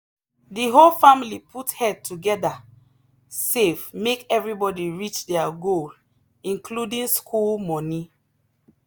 the whole family put head together save make everybody reach their goal including school money.